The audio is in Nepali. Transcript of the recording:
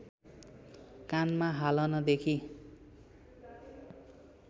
कानमा हालन देखि